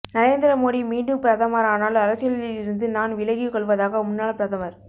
நரேந்திர மோடி மீண்டும் பிரதமரானால் அரசியலில் இருந்து நான் விலகி கொள்வதாக முன்னாள் பிரதமர்